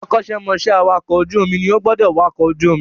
Akọ́ṣẹ́ mọṣẹ́ awàkọ̀ ojú omi ní ó gbọ́dọ̀ wakọ̀ ojú omi